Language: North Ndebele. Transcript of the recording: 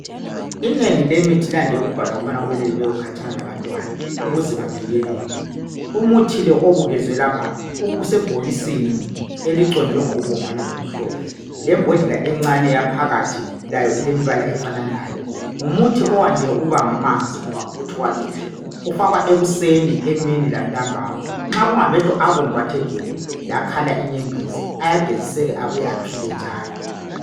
Inengi lemithi liyande ukubhalwa Ukuze bavikelelwe umuthi Obukezwe lapha usebhokisini eliHlophe lembodlela encane yaphakathi layo ilembala efananayo ngumuthi oyande ukuba ngamanzi ngoba ngumuthi wamehlo ufakwa ekuseni emini lantambama nxa kungamehlo abomvu athe gebhu lakhala inyembezi ayageziseka abuye aphile njalo